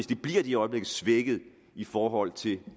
det bliver de i øjeblikket svækket i forhold til